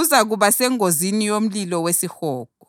uzakuba sengozini yomlilo wesihogo.